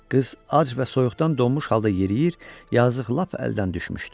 Qız ac və soyuqdan donmuş halda yeriyir, yazıq lap əldən düşmüşdü.